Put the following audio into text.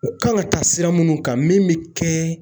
U kan ka taa sira minnu kan min bɛ kɛ.